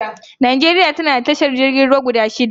Najeriya tana da tashar jirgin ruwa guda shida